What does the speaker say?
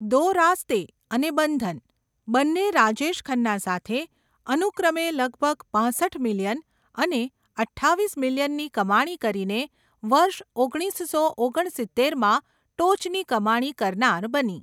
દો રાસ્તે' અને 'બંધન', બંને રાજેશ ખન્ના સાથે, અનુક્રમે લગભગ પાંસઠ મિલિયન અને અઠ્ઠાવીસ મિલિયનની કમાણી કરીને વર્ષ ઓગણીસસો ઓગણસિત્તેરમાં ટોચની કમાણી કરનાર બની.